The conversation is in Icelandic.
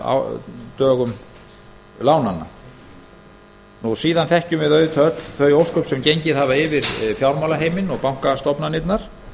á endurskoðunardögum lánanna síðan þekkjum við auðvitað öll þau ósköp sem gengið hafa yfir fjármálaheiminn og bankastofnanirnar